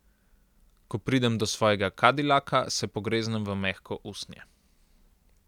Ko pridem do svojega kadilaka, se pogreznem v mehko usnje.